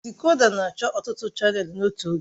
Dịkòdà na-achọ ọtụtụ chanèlụ n'otu oge